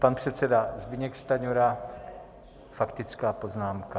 Pan předseda Zbyněk Stanjura, faktická poznámka.